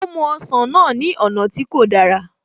Ó mú ọsàn náà ní ọ̀nà tí kò dára